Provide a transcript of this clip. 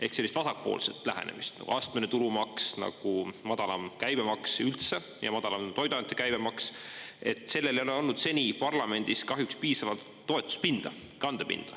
Ehk sellist vasakpoolset lähenemist nagu astmeline tulumaks, nagu madalam käibemaks, üldse, ja madalam toiduainete käibemaks – sellel ei ole olnud seni parlamendis kahjuks piisavalt toetuspinda, kandepinda.